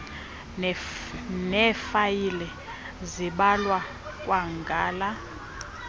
neefayile zibhalwa kwangala